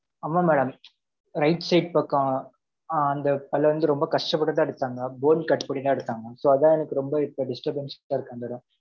ஆமாம் madam. Right side பக்கம், அ, அந்த பல்லு வந்து, ரொம்ப கஷ்டப்பட்டுதான் எடுத்தாங்க. Bone கட் பண்ணிதான் எடுத்தாங்க. So, அதான் எனக்கு ரொம்ப, இப்ப disturbanced ஆ இருக்கு, அந்த இடம்.